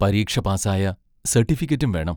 പരീക്ഷ പാസ്സായ സർട്ടിഫിക്കറ്റും വേണം.